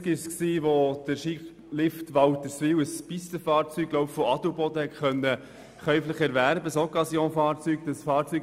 Es wurde mit einem Lastwagen angeliefert, ich erinnere mich noch gut daran.